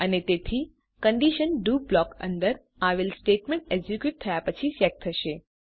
અને તેથી condition do block અંદર આવેલા સ્ટેટમેન્ટ એક્ઝીક્યુટ થયા પછી ચેક થશે